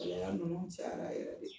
Bɛɛnkan nunnu cayara yɛrɛ de.